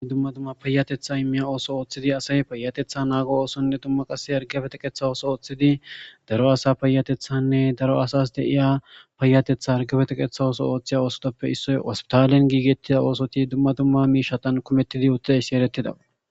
dumma dumma payatetha immiya ooso ooththidi asay payatetha naago oosonne dumma qase hargiyappe teqetha ooso ooththidi daro asa payatethanne daro asas de'iya payatetha harigeppe teqeththa ooso ooththiya oosotoppe issoy hospitalen giigettida oosoti dumma dumma miishatan kumettidi utidaysi eretidaba.